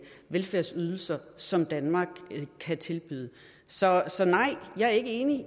velfærdsydelser som danmark kan tilbyde så så nej jeg er ikke enig